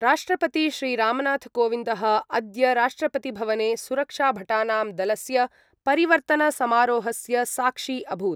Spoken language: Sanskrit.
राष्ट्रपति श्रीरामनाथकोविन्दः अद्य राष्ट्रपतिभवने सुरक्षाभटानां दलस्य परिवर्तनसमारोहस्य साक्षी अभूत्।